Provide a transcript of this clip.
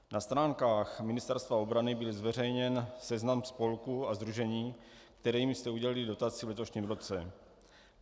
Na stránkách Ministerstva obrany byl zveřejněn seznam spolků a sdružení, kterým jste udělili dotaci v letošním roce.